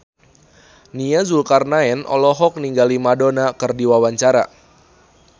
Nia Zulkarnaen olohok ningali Madonna keur diwawancara